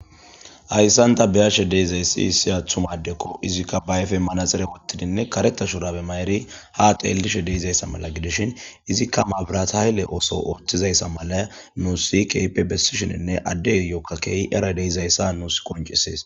Hayssanta beyashe deizayssi issiyathumadekko izikka bayfe manaxire ottidinne kareta shurabe ma'eri ha xeellishe deeizayssa mala gidishin izikka maabirathaylle ooso ootizayssa mala muu si kaype bessishininne addey yokkakeehi era deizayssa nuus qoncisees